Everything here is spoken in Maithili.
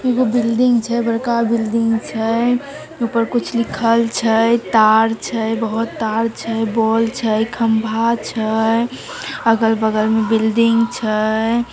एगो बिल्डिंग छै बड़का बिल्डिंग छै ऊपर कुछ लिखल छै तार छै बहुत तार छै बॉल छै खंभा छै अगल-बगल में बिल्डिंग छै।